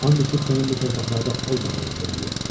And içib sənin bu torpaqlarda olmadığını deməliyəm.